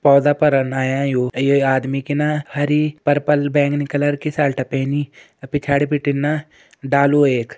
पौधा पर ये आदमी की न हरी पर्पल बैंगनी कलर की शर्ट पैनी पिछाड़ी बिटिन न डालु एक।